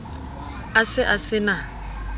a se a se na